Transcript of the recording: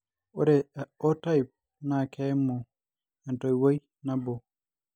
ore o Type naa keimu entoiwoi nabo